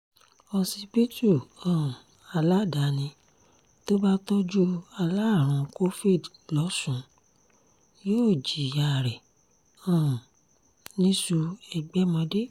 òṣìbìtú um aládàáni tó bá tọ́jú alárùn covid losùn yóò jiyàn rẹ̀ um níṣu- ẹgbẹ̀mọdé